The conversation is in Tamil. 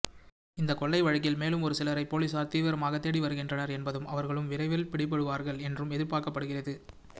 இந்த கொள்ளை வழக்கில் மேலும் ஒருசிலரை போலீசார் தீவிரமாக தேடி வருகின்றனர் என்பதும் அவர்களும் விரைவில் பிடிபடுவார்கள் என்றும் எதிர்பார்க்கப்படுகிறது